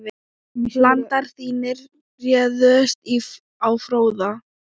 Landar þínir réðust á Fróða.